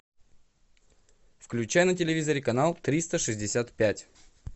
включай на телевизоре канал триста шестьдесят пять